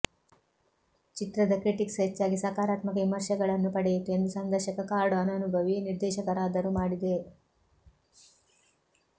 ಚಿತ್ರದ ಕ್ರಿಟಿಕ್ಸ್ ಹೆಚ್ಚಾಗಿ ಸಕಾರಾತ್ಮಕ ವಿಮರ್ಶೆಗಳನ್ನು ಪಡೆಯಿತು ಮತ್ತು ಸಂದರ್ಶಕ ಕಾರ್ಡ್ ಅನನುಭವಿ ನಿರ್ದೇಶಕರಾದರು ಮಾಡಿದೆ